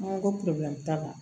An ko ko t'a la